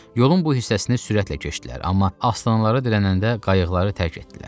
Yolun bu hissəsini sürətlə keçdilər, amma aslanlara dirənəndə qayıqları tərk etdilər.